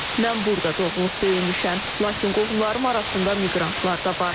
Mən burada doğulub böyümüşəm, lakin qohumlarım arasında miqrantlar da var.